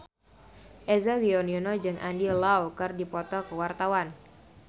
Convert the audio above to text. Eza Gionino jeung Andy Lau keur dipoto ku wartawan